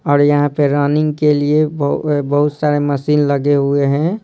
और यहां पे रनिंग के लिए ब अ बहुत सारे मशीन लगे हुए हैं।